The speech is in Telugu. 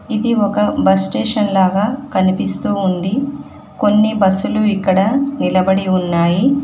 ఇది ఒక బస్ స్టేషన్ లాగా కనిపిస్తూ ఉంది కొన్ని బస్సులు ఇక్కడ నిలబడి ఉన్నాయి.